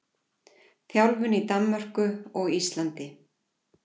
Þjálfun í Danmörku og Íslandi.